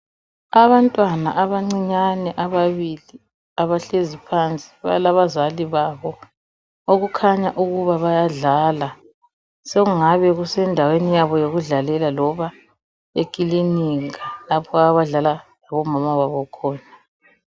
Abantwana abancinyane ababili abahlezi phansi balabazali babo. Okukhanya ukuba bayadlala sokungani kusendaweni yabo yokudlalela loba ekilinika lapho abadlala labomama babo khona.